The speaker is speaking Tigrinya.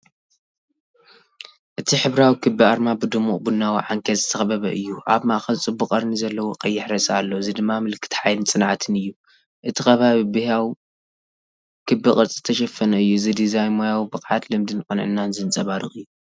እቲ ሕብራዊ ክቢ ኣርማ ብድሙቕ ቡናዊ ዓንኬል ዝተኸበበ እዩ። ኣብ ማእከል ጽቡቕ ቀርኒ ዘለዎ ቀይሕ ርእሲ ኣሎ፡ እዚ ድማ ምልክት ሓይልን ጽንዓትን እዩ። እቲ ከባቢ ብህያው ክቢ ቅርጺ ዝተሸፈነ እዩ። እዚ ዲዛይን ሞያዊ ብቕዓት፡ልምድን ቅንዕናን ዘንጸባርቕ እዩ።